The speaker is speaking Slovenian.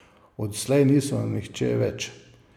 Odslej niso nihče več.